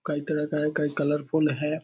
कई तरह का है कई कलरफुल है।